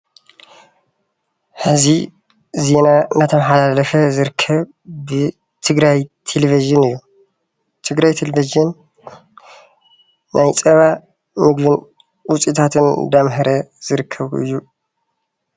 ሕዚ ዜና እናተማሓላለፈ ዝርከብ ብትግራይ ቴሌቭዥን እዩ፡፡ ትግራይ ቴሌቭዥን ናይ ፀባ ውፅኢታት እንዳምሀረ ዝርከብ እዩ፡፡